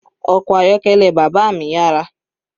Ọkọ̀ ayọ́kẹ́lẹ́ bàbá mi yára.